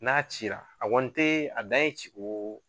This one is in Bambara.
N'a cira a kɔni te a dan ye ci ko o